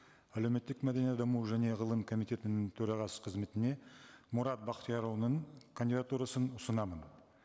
әлеуметтік мәдени даму және ғылым комитетінің төрағасы қызметіне мұрат бақтиярұлының кандидатурасын ұсынамын